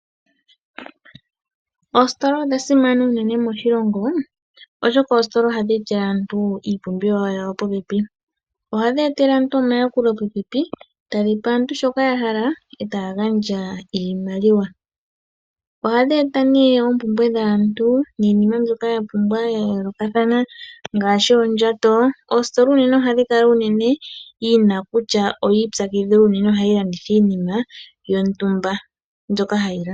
Ositola odha simana unene moshilongo, oshoka oositola ohadhi etele aantu iipumbiwa yawo popepi. Ohadhi etele aantu omayakulo popepi, tadhi pe aantu shoka ya hala e taya gandja iimaliwa. Ohadhi eta oompumbwe dhaantu niinima mbyoka ya yoolokathana ngaashi oondjato. Ositola ohayi kala unene yi na kutya oyi ipyakidhila nohayi landitha iinima yontumba.